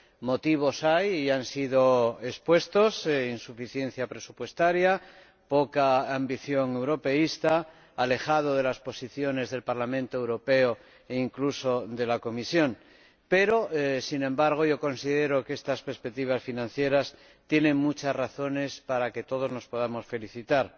motivos hay y han sido expuestos insuficiencia presupuestaria, poca ambición europeísta, alejamiento de las posiciones del Parlamento Europeo e incluso de la Comisión, pero, sin embargo, considero que estas perspectivas financieras tienen muchas razones para que todos nos podamos felicitar.